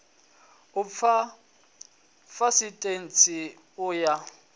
u fha ḽaisentsi u ya